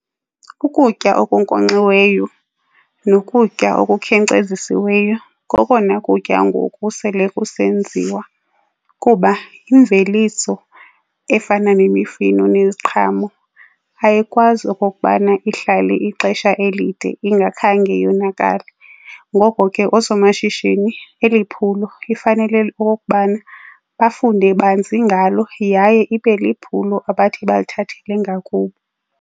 Ukutya okunkonkxiweyo nokutya okukhenkcezisiweyo kokona kutya ngoku sele kusenziwa kuba imveliso efana nemifino neyeziqhamo ayikwazi okokubana ihlale ixesha elide ingakhange yonakale. Ngoko ke oosomashishini eliphulo lifanele okokubana bafunde banzi ngalo yaye ibe liphulo abathi balithathele ngakubo.